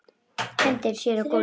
Hendir sér á gólfið.